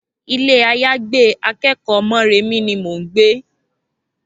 Ilé-àyágbé akẹ́kọ̀ọ́ Mọ́remí ni mò ń gbé